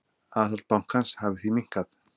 Aðhald bankans hafi því minnkað.